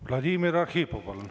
Vladimir Arhipov, palun!